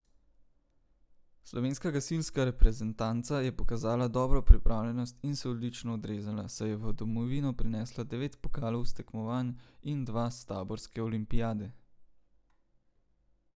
Slovenska gasilska reprezentanca je pokazala dobro pripravljenost in se odlično odrezala, saj je v domovino prinesla devet pokalov s tekmovanj in dva s taborske olimpijade.